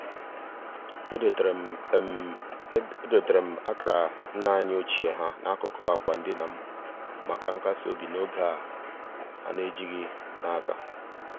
edoteere m edoteere m akara nna anyị ochie ha n'akụkụ akwa ndina m maka nkas obi n'oge a na-ejighị n'aka.